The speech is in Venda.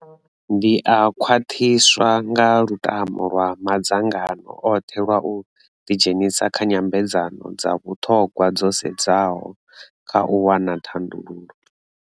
Ndi a khwaṱhiswa nga lutamo lwa madzangano oṱhe lwa u ḓidzhenisa kha nyambedzano dza vhuṱhogwa dzo sedzaho kha u wana thandululo.